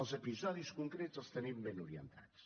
els episodis concrets els tenim ben orientats